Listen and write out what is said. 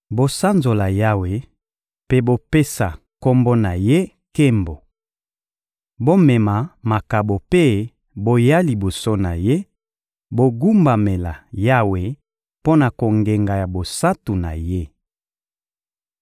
Bosanzola Yawe mpe bopesa Kombo na Ye nkembo! Bomema makabo mpe boya liboso na Ye, bogumbamela Yawe mpo na kongenga ya bosantu na Ye!